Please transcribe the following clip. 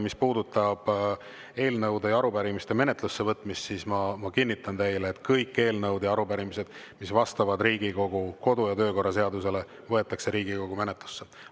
Mis puudutab eelnõude ja arupärimiste menetlusse võtmist, siis ma kinnitan teile, et kõik eelnõud ja arupärimised, mis vastavad Riigikogu kodu‑ ja töökorra seadusele, võetakse Riigikogu menetlusse.